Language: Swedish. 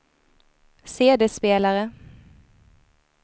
CD-spelare